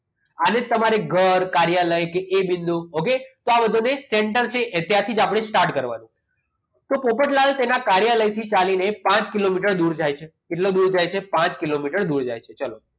આને તમારે ઘર કાર્યાલય કે એ બિંદુ okay તો આ બધાને start કરવાનું તો પોપટલાલને તેમના કાર્યાલયથી ચાલીને પાંચ કિલોમીટર દૂર જાય છે કેટલો દૂર જાય છે પાંચ કિલોમીટર દૂર જાય છે ચલો